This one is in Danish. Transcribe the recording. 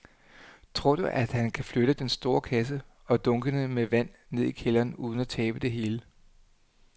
Tror du, at han kan flytte den store kasse og dunkene med vand ned i kælderen uden at tabe det hele?